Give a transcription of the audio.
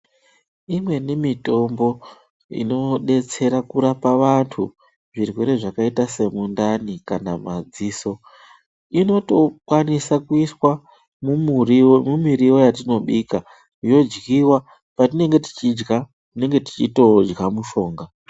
Imweni mitombo inodetsera kurapa vantu zvirwere zvakaita semundani kana madziso inotokwaniswa kuiswa mumiriwo yatinobika yodyiwa patinenge tichidya tinenge tichitodya mishonga.